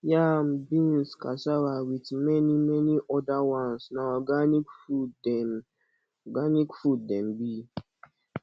yam beans cassava with many many other ones na organic food dem organic food dem be